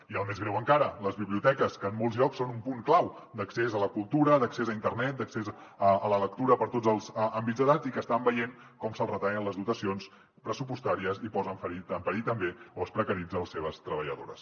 i el més greu encara les biblioteques que en molts llocs són un punt clau d’accés a la cultura d’accés a internet d’accés a la lectura per a tots els àmbits d’edat i que estan veient com se’ls retallen les dotacions pressupostàries i es posen en perill també o es precaritzen les seves treballadores